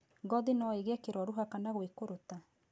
Gothi no ĩgie kĩroruha kana gwĩkũrũta.